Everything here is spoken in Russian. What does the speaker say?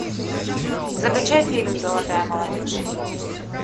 закачай фильм золотая молодежь